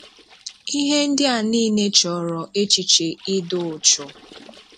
Íhé ndị̀ à nííle chọ̀rọ̀ échìchè ị́dị úchú échìchè ị́dị úchú